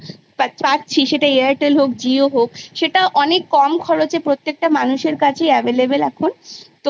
হচ্ছে সব বাচ্ছা সমান হয় না কেউ হয়তো পারবে কিন্তু আমাদের তো Majority নিয়ে চলতে হবে